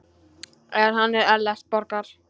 Það er hann Ellert Borgar.